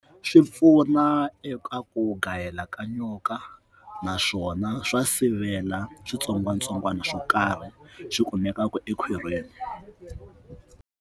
Swi pfuna eka ku gayela ka nyoka naswona swa sivela switsongwatsongwana swo karhi swi kumekaka ekhwirini.